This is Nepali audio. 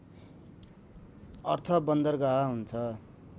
अर्थ बन्दरगाह हुन्छ